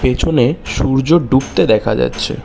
পেছনে সূর্য ডুবতে দেখা যাচ্ছে।